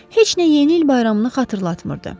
Heç nə yeni il bayramını xatırlatmırdı.